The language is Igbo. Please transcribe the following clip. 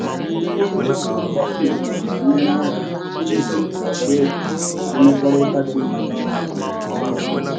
nkwurịta okwu nkwanye ùgwù na-enyere aka wulite ntụkwasị obi na mmekọrịta dị mma n'ọrụ ọrụ.